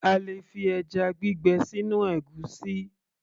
A lè fi ẹjá gbígbẹ sínú ègúsí